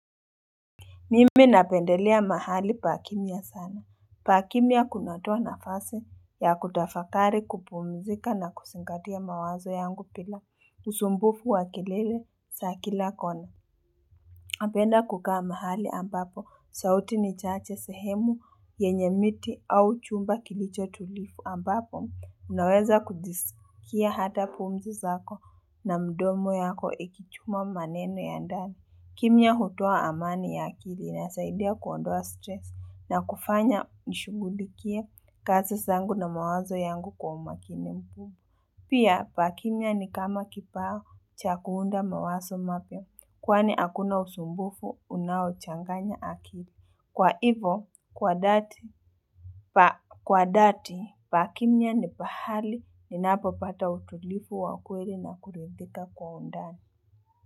Mimi napendelea mahali pa kimya sana. Pa kimya kunatoa nafasi ya kutafakari kupumzika na kuzingatia mawazo yangu bila usumbufu wa kilele za kila kona. Napenda kukaa mahali ambapo sauti ni chache sehemu yenye miti au jumba kilicho tulivu ambapo unaweza kujisikia hata pumzi zako na mdomo yako ikichuma maneno ya ndani. Kimya hutoa amani ya akili inasaidia kuondoa stress na kufanya nishugulikie kazi zangu na mawazo yangu kwa umakinifu. Pia, pa kimya ni kama kipaw cha kuunda mawazo mapya kwani hakuna usumbufu unaochanganya akili. Kwa hivo, kwa dhati, pa kimya ni pahali ni napopata utulivu wakweli na kuridhika kwa undani.